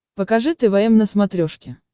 покажи твм на смотрешке